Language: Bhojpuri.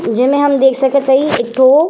जिन्हे हम देख सकत हई। एकठे --